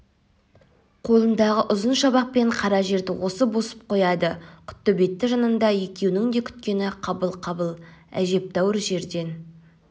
қолындағы ұзын шабақпен қара жерді осып-осып қояды құттөбеті жанында екеуінің де күткені қабыл қабыл әжептеуір жерден